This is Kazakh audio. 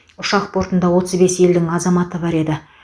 ұшақ бортында отыз бес елдің азаматы бар еді